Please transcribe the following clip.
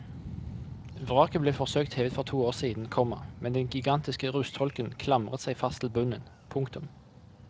Vraket ble forsøkt hevet for to år siden, komma men den gigantiske rustholken klamret seg fast til bunnen. punktum